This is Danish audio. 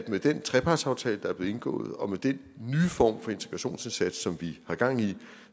med den trepartsaftale der er blevet indgået og med den nye form for integrationsindsats som vi har gang i